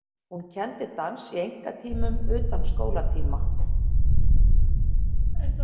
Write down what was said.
Hún kenndi dans í einkatímum utan skólatíma.